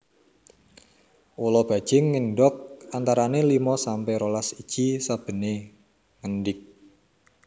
Ula bajing ngendog antarané limo sampe rolas iji sabené ngendig